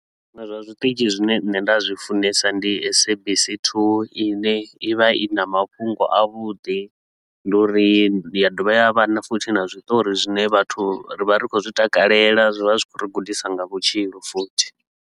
Zwinwe zwa zwiṱitshi zwine nṋe nda zwi funesa ndi SABC 2, i ne i vha i na mafhungo a vhudi, ndi uri ya dovha ya vha na futhi na zwiṱori zwine vhathu ri vha ri khou zwi takalela, zwi vha zwi khou ri gudisa nga vhutshilo futhi.